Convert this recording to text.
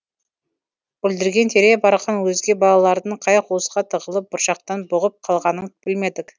бүлдірген тере барған өзге балалардың қай қуысқа тығылып бұршақтан бұғып қалғанын білмедік